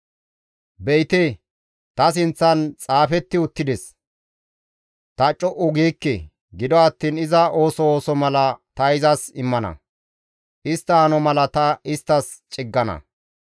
«Be7ite, ta sinththan xaafetti uttides; ta co7u giikke; gido attiin iza ooso ooso mala ta izas immana; istta hano mala ta isttas ciggana.